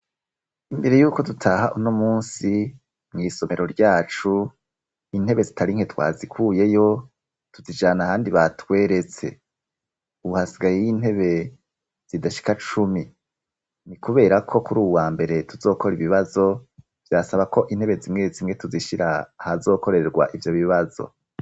Imbere yuko dutaha uno munsi mu isomero ryacu intebe zitarinke twazikuyeyo tuzijana handi batweretse uhasigaye y'intebe zidashika cumi ni kubera ko kuri u wa mbere tuzokora ibibazo byasaba ko intebe zimwe zimwe tuzishyira hazokorerwa ivyo bibazo.